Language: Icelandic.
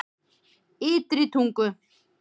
Ytri Tungu